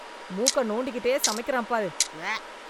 மூக்க நோண்டிக்கிட்டே சமைக்குறான் பாரு, உவ்வ.